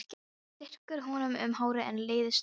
Hún strýkur honum um hárið en leiðist það.